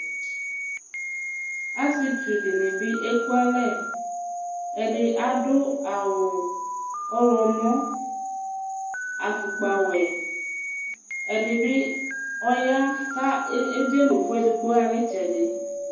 Asietsʋ dini bi ekʋ alɛ, ɛdi adʋ awʋ ɔwlɔmɔ, afʋkpawɛ, ɛdibi ɔya kʋ edzenʋ ʋvʋ edigbo xanʋ itsɛdi